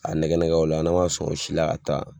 A nɛgɛnɛgɛ o la n'a man sɔn o si la ka taa